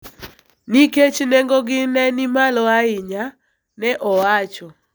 nikech nengogi ne ni malo ahinya, ne owacho.